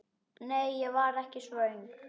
Nei, ég var ekki svöng.